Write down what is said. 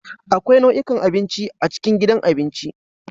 Akwai nau'ikan abinci a cikin gidan abinci.